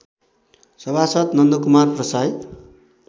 सभासद् नन्दकुमार प्रसाईँ